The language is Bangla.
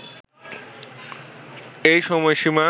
এই সময়সীমা